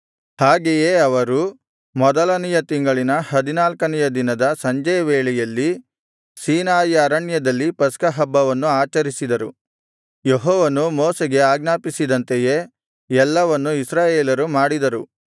ಹಾಗೆಯೇ ಅವರು ಮೊದಲನೆಯ ತಿಂಗಳಿನ ಹದಿನಾಲ್ಕನೆಯ ದಿನದ ಸಂಜೆಯ ವೇಳೆಯಲ್ಲಿ ಸೀನಾಯಿ ಅರಣ್ಯದಲ್ಲಿ ಪಸ್ಕಹಬ್ಬವನ್ನು ಆಚರಿಸಿದರು ಯೆಹೋವನು ಮೋಶೆಗೆ ಆಜ್ಞಾಪಿಸಿದಂತೆಯೇ ಎಲ್ಲವನ್ನು ಇಸ್ರಾಯೇಲರು ಮಾಡಿದರು